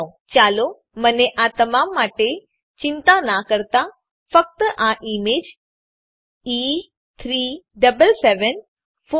go દબાવો